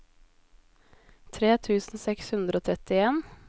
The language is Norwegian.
tre tusen seks hundre og trettien